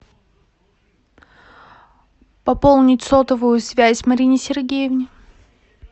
пополнить сотовую связь марине сергеевне